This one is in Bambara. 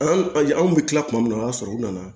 An anw bɛ tila tuma min na o y'a sɔrɔ u nana